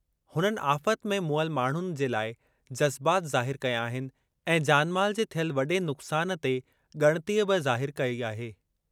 हुननि आफ़त में मुअल माण्हुनि जे लाइ जज़्बात ज़ाहिर कया आहिनि ऐं जान-माल जे थियल वॾे नुक़्सान ते ॻणितीअ बि ज़ाहिरु कई आहे।